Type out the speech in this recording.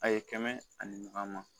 A ye kɛmɛ ani mugan ma